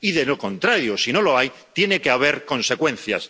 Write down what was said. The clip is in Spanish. Y, de lo contrario, si no lo hay, tiene que haber consecuencias.